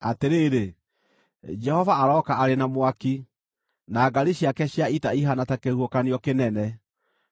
Atĩrĩrĩ, Jehova arooka arĩ na mwaki, na ngaari ciake cia ita ihaana ta kĩhuhũkanio kĩnene;